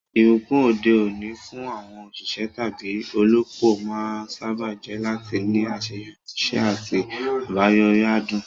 Ìbùkún òde òní fún àwọn òṣìṣẹ́ tàbí olópò máa ń sáábà jẹ́ láti ní àṣeyọrí, iṣẹ́ àti àbáyọrí adùn.